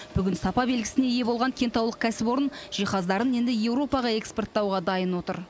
бүгін сапа белгісіне ие болған кентаулық кәсіпорын жиһаздарын енді еуропаға экспорттауға дайын отыр